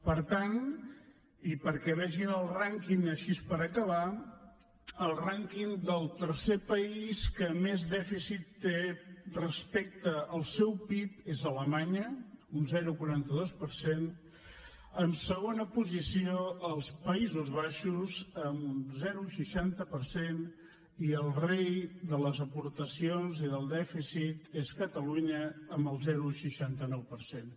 per tant i perquè en vegin el rànquing així per acabar el rànquing del tercer país que més dèficit té respecte al seu pib és alemanya un zero coma quaranta dos per cent en segona posició els països baixos amb un zero coma seixanta per cent i el rei de les aportacions i del dèficit és catalunya amb el zero coma seixanta nou per cent